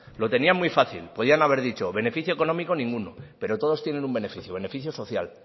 lo tenían muy fácil podían haber dicho beneficio económico ninguno pero todos tienen un beneficio beneficio social